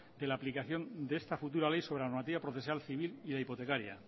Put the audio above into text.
de la aplicación de esta futura ley sobre la normativa procesal civil y la hipotecaria